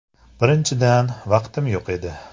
- Birinchidan, vaqtim yo‘q edi.